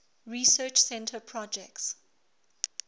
research center projects